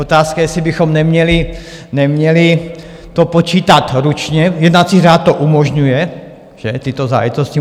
Otázka je, jestli bychom neměli to počítat ručně, jednací řád to umožňuje, že, tyto záležitosti.